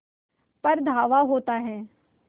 पर धावा होता है